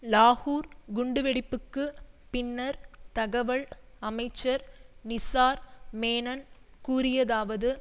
லாகூர் குண்டுவெடிப்புக்குப் பின்னர் தகவல் அமைச்சர் நிசார் மேனன் கூறியதாவது